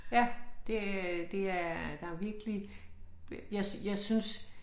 Ja det øh det er der virkelig jeg jeg synes